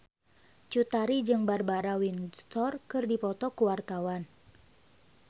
Cut Tari jeung Barbara Windsor keur dipoto ku wartawan